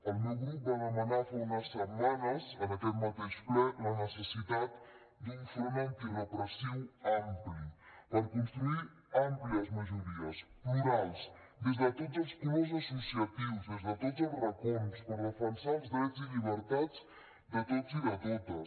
el meu grup va demanar fa unes setmanes en aquest mateix ple la necessitat d’un front antirepressiu ampli per construir àmplies majories plurals des de tots els colors associatius des de tots els racons per defensar els drets i llibertats de tots i de totes